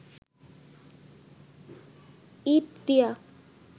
ইঁট দিয়া